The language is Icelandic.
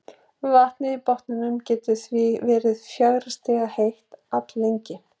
Vatnið við botninn getur því verið fjögurra stiga heitt alllengi.